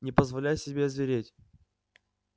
не позволяй себе озвереть